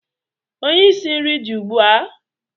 onye isi nri dị ugbu a?